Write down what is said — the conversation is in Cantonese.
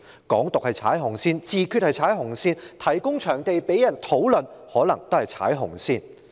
"港獨"是踩"紅線"、"自決"是踩"紅線"、提供場地讓人進行討論可能也是踩"紅線"。